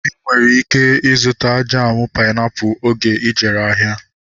Ị nwere ike ịzụta jamu painiapulu oge ijere ahịa